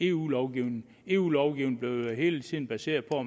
eu lovgivningen eu lovgivningen bliver hele tiden baseret på